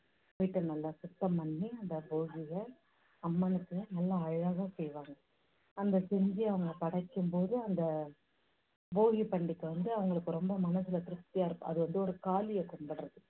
வீட்டை நல்லா சுத்தம் பண்ணி அந்த போகியில அம்மனுக்கு நல்லா அழகா செய்வாங்க. அந்த செஞ்சு அவங்க படைக்கும் போது அந்த போகிப் பண்டிகை வந்து அவங்களுக்கு ரொம்ப மனசுல திருப்தியா இருக்கும். அது வந்து ஒரு காளிய கும்பிடறது